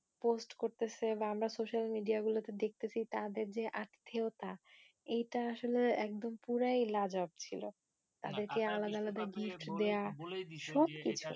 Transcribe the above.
post করতেছে বা আমরা social media গুলোতে দেখতেছি তাদের যে আত্বিয়তা এইটা আসলে একদম পুরাই লাজবাব ছিল. তাদেরকে আলাদা আলাদা gift দেওয়া, সব কিছু।